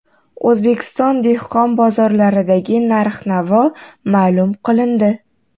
O‘zbekiston dehqon bozorlaridagi narx-navo ma’lum qilindi.